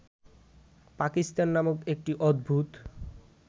পাকিস্তান নামক একটি অদ্ভুত